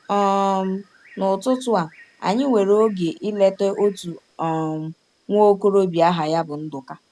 um N’ụtụtụ a, anyị nwere oge ileta otu um nwa okorobịa aha ya bụ Nduka.